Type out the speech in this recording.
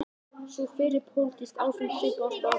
Sú fyrri: pólitískt ástand svipað og á Spáni.